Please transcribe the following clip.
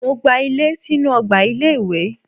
Mo gba ilé sínú ọgbà ilé-ìwé.